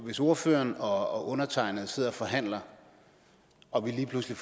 hvis ordføreren og undertegnede sidder og forhandler og vi lige pludselig